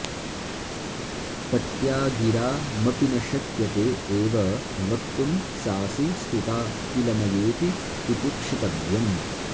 पत्या गिरामपि न शक्यते एव वक्तुं सासि स्तुता किल मयेति तितिक्षितव्यम्